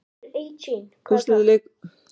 Úrslitaleikurinn mun síðan fara fram á laugardaginn.